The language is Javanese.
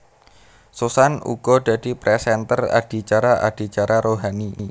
Susan uga dadi présènter adicara adicara rohani